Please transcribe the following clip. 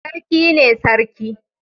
Sarki ne Sarki.